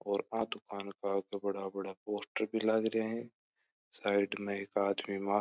और आ दुकान पर बड़ा बड़ा पोस्टर लाग रहा है साइड में एक आदमी मास्क --